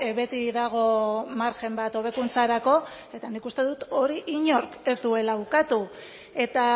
beti dago margen bat hobekuntzarako eta nik uste dut hori inork ez duela ukatu eta